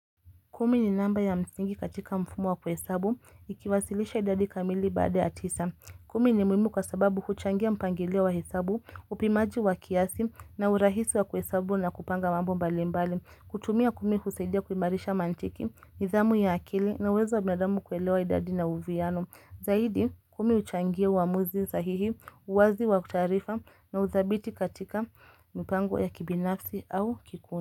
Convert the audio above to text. Kumi ni namba ya msingi katika mfumo wa kuhesabu, ikiwasilisha idadi kamili baada ya tisa. Kumi ni muhimu kwasababu huchangia mpangilio wa hesabu, upimaji wa kiasi na urahisi wa kuhesabu na kupanga mambo mbali mbali. Kutumia kumi husasidia kuimarisha mantiki, nizamu ya akili na uwezo wa binadamu kuelewa idadi na uviano. Zahidi kumi uchangia uamuzi sahihi, uwazi wa kutarifa na uthabiti katika mpango ya kibinafsi au kikuni.